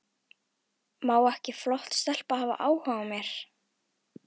Má ekki flott stelpa hafa áhuga á mér?